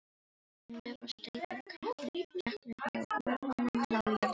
Undir var steyptur kjallari og úr honum lágu jarðgöng.